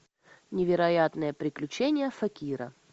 невероятные приключения факира